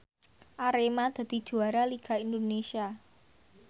Arema dadi juara liga Indonesia